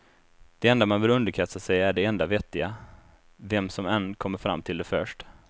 Det enda man behöver underkasta sig är det enda vettiga, vem som än kommer fram till det först.